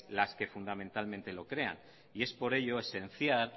las que fundamentalmente lo crean y es por ello esencial